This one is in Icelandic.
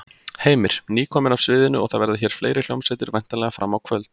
Heimir: Nýkomin af sviðinu og það verða hér fleiri hljómsveitir væntanlega fram á kvöld?